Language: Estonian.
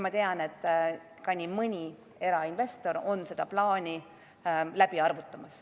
Ma tean, et nii mõnigi erainvestor on seda plaani läbi arvutamas.